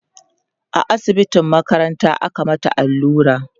a asibitin makaranta aka mata allura